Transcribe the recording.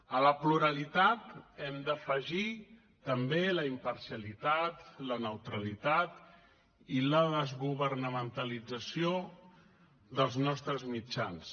a la pluralitat hem d’afegir també la imparcialitat la neutralitat i la desgovernamentalització dels nostres mitjans